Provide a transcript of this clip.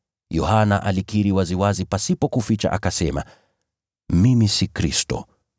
Yohana alikiri waziwazi pasipo kuficha akasema, “Mimi si Kristo.”